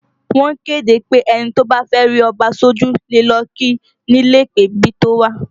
Wọ́n kéde pé ẹni tó bá fẹ́ rí Ọba sójú le lọ kí i ni ilé ìpèbí tó wà